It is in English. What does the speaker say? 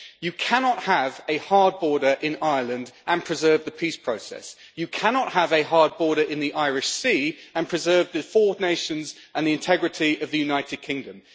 You cannot have a hard border in Ireland and preserve the peace process. You cannot have a hard border in the Irish Sea and preserve the four nations and the integrity of the United Kingdom.